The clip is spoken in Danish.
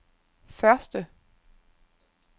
første